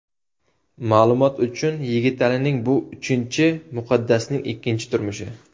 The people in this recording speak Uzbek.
Ma’lumot uchun, Yigitalining bu uchinchi, Muqaddasning ikkinchi turmushi.